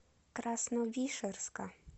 красновишерска